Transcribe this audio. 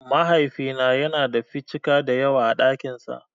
Mahaifina yana da 'ficika' dayawa a ɗakin sa.